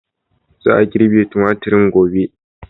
Za a girbe tumaturin gobe.